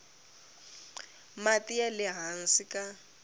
mati ya le hansi ka